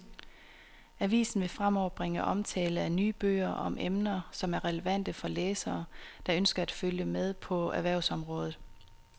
Avisen vil fremover bringe omtale af nye bøger om emner, som er relevante for læsere, der ønsker at følge med på erhvervsområdet.